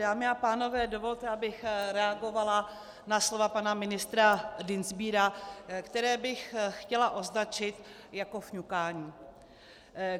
Dámy a pánové, dovolte, abych reagovala na slova pana ministra Dienstbiera, která bych chtěla označit jako fňukání.